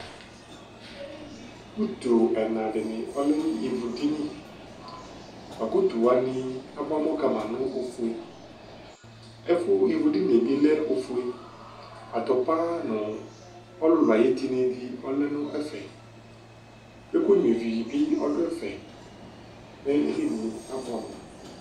utu ɛna dini ɔlɛ n'ivu dini boa ko utu wani aboa amɔ kama no ofue ɛfu ivu dinie bi lɛ ofue atopa no ɔlòlò ayi etini di ɔlɛ no ɛfɛ kò ɛkò nyua ivi bi ɔdo ɛfɛ mɛ edinie aboɛ amo